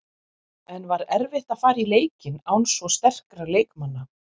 En var erfitt að fara í leikinn án svo sterkra leikmanna?